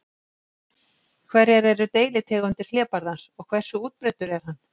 Hverjar eru deilitegundir hlébarðans og hversu útbreiddur er hann?